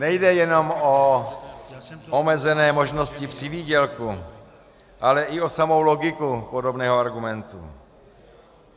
Nejde jenom o omezené možnosti přivýdělku, ale i o samou logiku podobného argumentu.